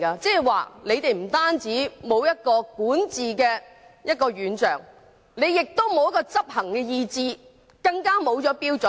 這表示政府不單沒有管治的願景，更沒有執行的意志和標準。